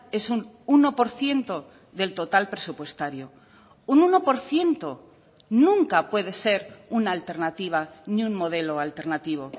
es un uno por ciento del total presupuestario un uno por ciento nunca puede ser una alternativa ni un modelo alternativo